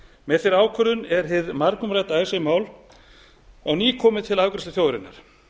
með þeirri ákvörðun er hið margumrædda icesave mál á ný komið til afgreiðslu þjóðarinnar